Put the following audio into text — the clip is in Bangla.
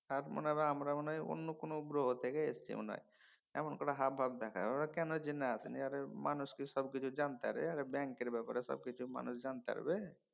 আর মনে হয় আমরা বোধয় অন্য কোনও গ্রহ থেকে এসেছি মনে হয় এমন করে হাবভাব দেখায়। ওরা কেন জেনে আসেনি আরে মানুষ কি সবকিছু জানতে হয় এয়ারে ব্যাঙ্কের ব্যাপারে সবকিছু মানুষ জানতে পারবে?